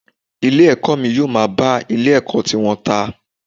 Ilé ẹ̀kọ́ mi yóò máa bá ilé ẹ̀kọ́ tiwọn ta.